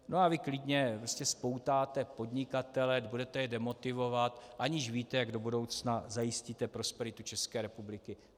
No a vy klidně prostě spoutáte podnikatele, budete je demotivovat, aniž víte, jak do budoucna zajistíte prosperitu České republiky.